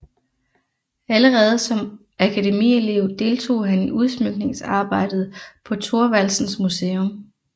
Allerede som akademielev deltog han i udsmykningsarbejdet på Thorvaldsens Museum